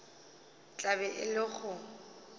tla be e le go